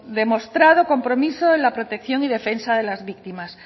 demostrado compromiso de la protección y defensa de las víctimas